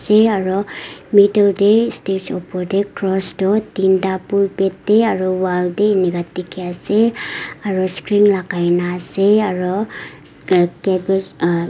e aro middle teh stage opor teh cross toh tin ta pulpit teh aro wall teh enka dikhi ase aro screen lagai na ase aro ca cabbage aa--